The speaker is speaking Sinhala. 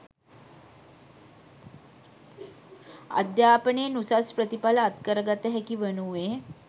අධ්‍යාපනයෙන් උසස් ප්‍රතිඵල අත්කර ගත හැකි වනුයේ